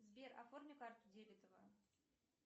сбер оформи карту дебетовую